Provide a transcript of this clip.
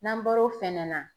N'an bɔr'o fɛnɛ na